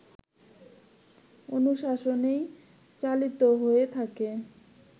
অনুশাসনেই চালিত হয়ে থাকে